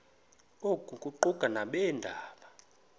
oku kuquka nabeendaba